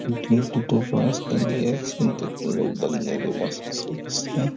দু দুটো বাস দাঁড়িয়ে আছে ।